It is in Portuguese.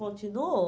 Continuou.